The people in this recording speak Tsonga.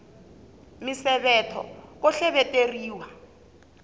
misevetho ko hleveteriwa